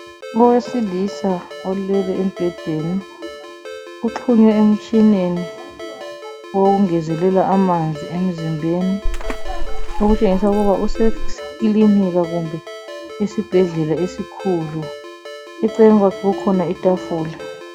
Owesilisa olele embhedeni, uxhunywe emtshineni wokungezelela amanzi emzimbeni, okutshengisa ukuba useklinika kumbe esbhedlela esikhulu. Eceleni kwakhe kukhona itafula.